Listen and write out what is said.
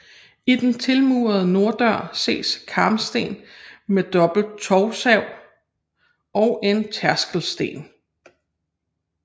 I den tilmurede norddør ses karmsten med dobbelt tovstav og en tærskelsten